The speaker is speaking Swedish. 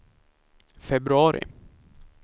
februari